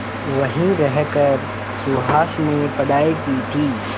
वहीं रहकर सुहास ने पढ़ाई की थी